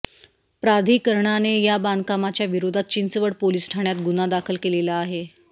प्राधिकरणाने या बांधकामाच्या विरोधात चिंचवड पोलीस ठाण्यात गुन्हा दाखल केलेला आहे